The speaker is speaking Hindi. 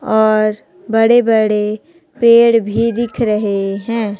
और बड़े बड़े पेड़ भी दिख रहे हैं।